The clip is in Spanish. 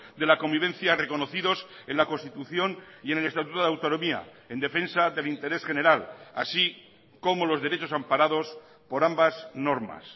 de la convivencia reconocidos en la constitución y en el estatuto de autonomía en defensa del interés general así como los derechos amparados por ambas normas